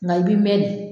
Nka i bi mɛn de